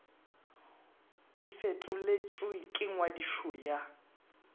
e fetoletšwe le ngwadišo ya